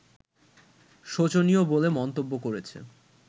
শোচনীয় বলে মন্তব্য করেছে